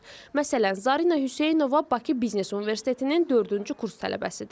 Məsələn, Zarinə Hüseynova Bakı Biznes Universitetinin dördüncü kurs tələbəsidir.